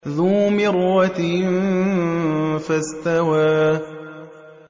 ذُو مِرَّةٍ فَاسْتَوَىٰ